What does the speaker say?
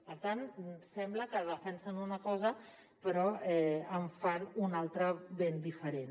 per tant sembla que defensen una cosa però en fan una altra de ben diferent